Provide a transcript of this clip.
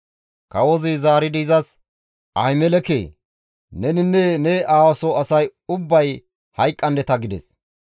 Kawozi zaaridi izas, «Ahimelekee! Neninne ne aawa soo asay ubbay hayqqandeta!» gides.